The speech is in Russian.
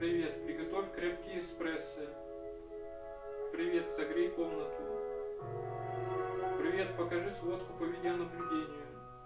привет приготовь крепкий эспрессо привет согрей комнату привет покажи сводку по видеонаблюдению